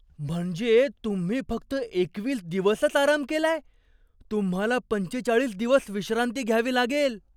म्हणजे तुम्ही फक्त एकवीस दिवसच आराम केलाय? तुम्हाला पंचेचाळीस दिवस विश्रांती घ्यावी लागेल.